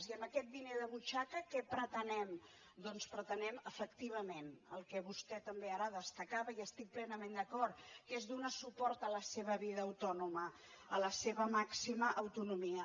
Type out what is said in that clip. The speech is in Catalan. i amb aquest diner de butxaca què pretenem doncs pretenem efectivament el que vostè també ara destacava i hi estic plenament d’acord que és donar suport a la seva vida autònoma a la seva màxima autonomia